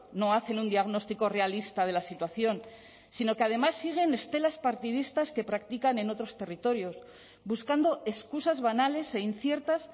no hacen un diagnóstico realista de la situación sino que además siguen estelas partidistas que practican en otros territorios buscando excusas banales e inciertas